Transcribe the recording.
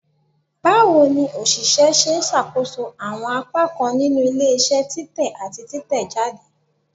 Bawo ni oṣiṣẹ ṣe ṣakoso awọn apakan ninu ile-iṣẹ titẹ ati titẹjade?